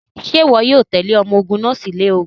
Ṣe iwọ yoo tẹle ọmọ ogun naa si ilẹ ogun?